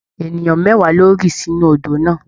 Ènìyàn mẹ́wàá ló rì sínú odò náà.